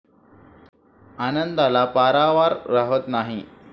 आनंदाला पारावार राहात नाही.